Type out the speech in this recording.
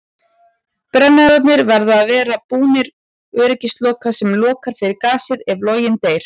Brennararnir verða að vera búnir öryggisloka sem lokar fyrir gasið ef loginn deyr.